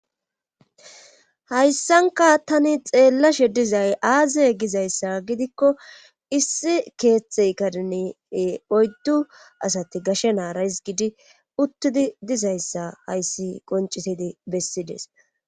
Hayssankka tani xeellashe dizay aaze gizayssa gidikko ee issi keethe kareni ee oyddu asati gashe naara hizggidi uttidi dizayssa hayssi qonccisidi bessides.